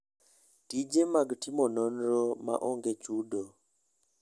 Tije mag timo nonro ma onge chudo.